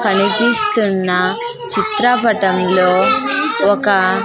కనిపిస్తున్న చిత్రపటంలో ఒక --